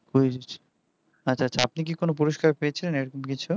quiz আপনি কি কোন পুরস্কার পেয়েচেন এরকম কিছু